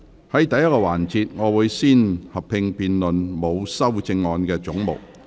在第一個環節，會先合併辯論沒有修正案的總目。